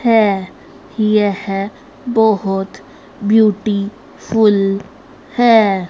है यह बहोत ब्यूटी फुल है।